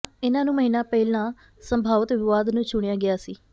ਇਨ੍ਹਾਂ ਨੂੰ ਮਹੀਨਾ ਪਹਿਲਾਂ ਸੰਭਾਵਤ ਵਿਵਾਦ ਨੂੰ ਚੁਣਿਆ ਗਿਆ ਸੀ